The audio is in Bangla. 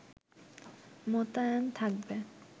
মোতায়েন থাকবে